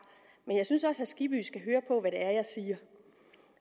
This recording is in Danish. men jeg synes også herre skibby skal høre på hvad det er jeg siger